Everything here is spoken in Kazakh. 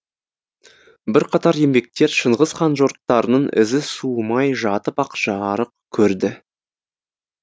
бірқатар еңбектер шыңғыс хан жорықтарының ізі суымай жатып ақ жарық көрді